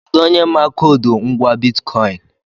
Kedụ onye ma koodu ngwá bitkọịn?